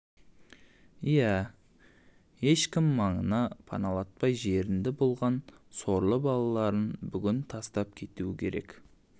иә ешкім маңына паналатпай жерінді болған сорлы балаларын бүгін тастап кетуі керек